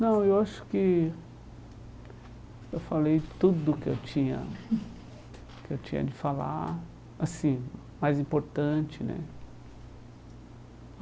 Não, eu acho que eu falei tudo que eu tinha que eu tinha de falar, assim, mais importante, né?